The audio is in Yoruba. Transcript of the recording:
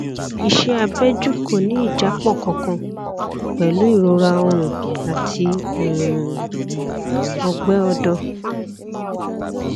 iṣẹ abẹjú kò ní ìjápọ kankan pẹlú ìrora ọrùn àti um ọgbẹ ọdọ